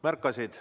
Märkasid.